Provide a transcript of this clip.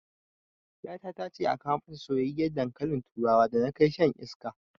Ƴata tace a kawo mata soyyiyar dankalin turawa da na kai shan iska